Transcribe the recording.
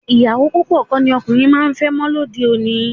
Ìyàwó púpọ̀ kọ́ ni ọkùnrin máa ń fẹ́ mọ́ lóde òní